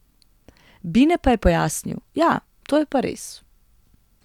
Bine pa je pojasnil: 'Ja, to je pa res.